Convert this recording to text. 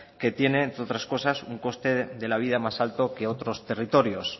que tienen entre otras cosas un coste de la vida más alto que otros territorios